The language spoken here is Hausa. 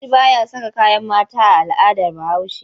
Namiji ba ya saka kayan mata a al'adar Bahaushe.